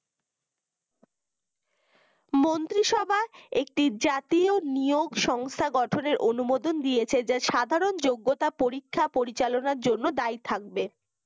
মন্ত্রীসভায় একটি জাতীয় নিয়োগ সংস্থা গঠনের অনুমোদন দিয়েছে যা সাধারণ যোগ্যতা পরীক্ষা পরিচালনা জন্য দ্বায়ী থাকবে